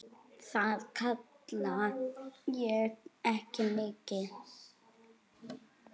Það kalla ég ekki mikið.